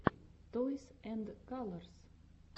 тойс энд калорс